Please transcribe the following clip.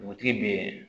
Dugutigi bɛ